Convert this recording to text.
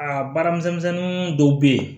Aa baaramisɛnnin dɔw be yen